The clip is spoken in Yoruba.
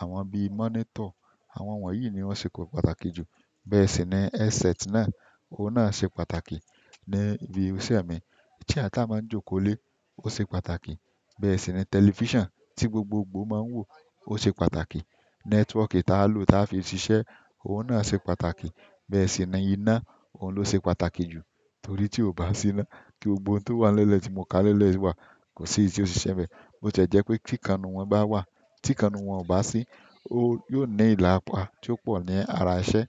àwọn bíi monitor. Àwọn wọ̀nyí ni wọ́n ṣe pàtàkì jù. Bẹ́ẹ̀ sì ni headset náà, òhun náà ṣe pàtàkì ní ibi iṣẹ́ mi. Chair ta máa ń jókò lé, ó ṣe pàtàkì. Bẹ́ẹ̀ sì ni tẹlifíṣàn tí gbogbogbò máa ń wò ó ṣe pàtàkì. Network ta lò ta fi ṣiṣẹ́, òhun náà ṣe pàtàkì. Bẹ́ẹ̀ sì ni iná, òhun ló ṣe pàtàkì jù torí tí ò bá sí iná, kí gbogbo ohun tó wà n lele tí mo ká lele wà kò sí èyí ti o ṣíṣe bẹ́ẹ̀. Ó jẹ̀ jẹ́ pé tí kan inú won bá wà, tí kan inú won ò bá sí, ó yóò ní ìlàpà tó pọ̀ ní ara iṣẹ́.